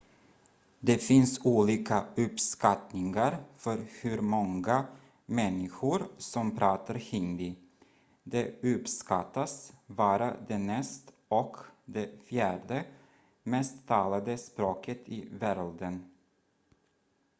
det finns olika uppskattningar för hur många människor som pratar hindi det uppskattas vara det näst och det fjärde mest talade språket i världen